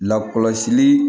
Lakɔlɔsili